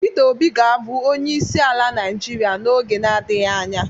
Pita Obi ga abu onyeisi ala naijiria n'oge na-adighị anya.